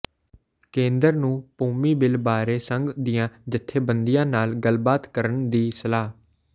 ਕੇਂਦਰ ਨੂੰ ਭੂਮੀ ਿਬੱਲ ਬਾਰੇ ਸੰਘ ਦੀਆਂ ਜਥੇਬੰਦੀਆਂ ਨਾਲ ਗੱਲਬਾਤ ਕਰਨ ਦੀ ਸਲਾਹ